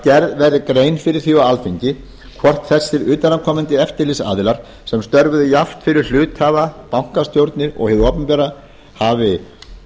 gerð verði grein fyrir því á alþingi hvort þessir utanaðkomandi eftirlitsaðilar sem störfuðu jafnt fyrir hluthafa bankastjórnirnar og hið opinbera hafi